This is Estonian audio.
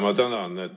Ma tänan!